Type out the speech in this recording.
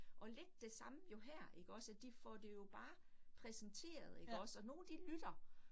Og lidt det samme jo her ikke også, at de får det jo bare præsenteret ikke også, og nogle de lytter